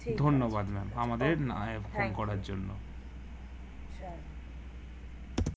ধন্যবাদ ma'am